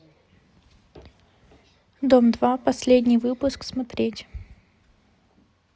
дом два последний выпуск смотреть